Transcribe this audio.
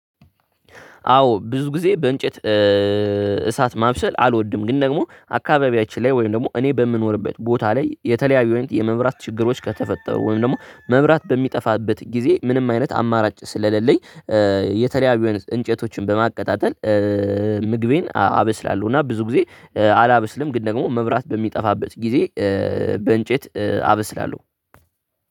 አዎ ብዙ ጊዜ በእንጨት እሳት ማብሰል አልወድም። ግን ደግሞ አካባቢያችን ላይ ወይም ደግሞ እኔ በምኖርበት ቦታ ላይ የተለያዩ የመብራት ችግሮች ከተፈጠሩ ወይም ደግሞ መብራት በሚጠፋበት ጊዜ ምንም አይነት አማራጭ ስለሌለኝ የተለያዩ አይነት እንጨቶችን በማቀጣጠል ምግቤን አብስላለሁ። እና ብዙ ጊዜ አላብስልም ግን ደግሞ መብራት በሚጠፋበት ጊዜ በእንጨት አብስላለሁ።